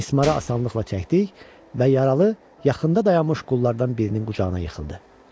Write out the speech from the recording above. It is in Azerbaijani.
Mismarı asanlıqla çəkdik və yaralı yaxında dayanmış qullardan birinin qucağına yıxıldı.